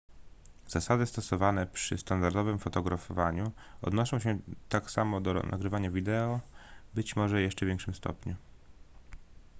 zasady stosowane przy standardowym fotografowaniu odnoszą się tak samo do nagrywania wideo być może w jeszcze większym stopniu